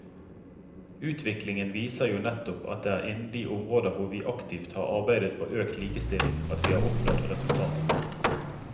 Utviklingen viser jo nettopp at det er innen de områder hvor vi aktivt har arbeidet for økt likestilling at vi har oppnådd resultater.